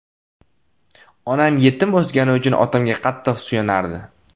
Onam yetim o‘sgani uchun otamga qattiq suyanardi.